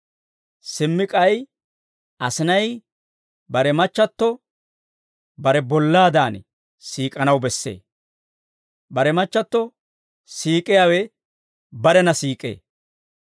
Simmi k'ay asinay bare machchatto bare bollaadan siik'anaw bessee; bare machchatto siik'iyaawe barena siik'ee.